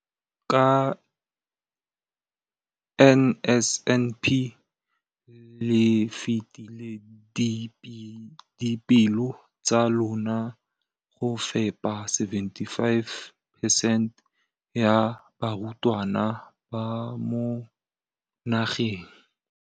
Ka NSNP le fetile dipeelo tsa lona tsa go fepa masome a supa le botlhano a diperesente ya barutwana ba mo nageng.